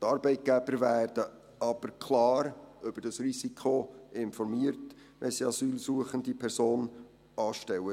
Die Arbeitgeber werden aber klar über dieses Risiko informiert, wenn sie eine asylsuchende Person anstellen.